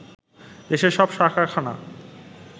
দেশের সব সার কারখানা